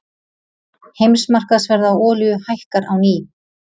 Heimsmarkaðsverð á olíu hækkar á ný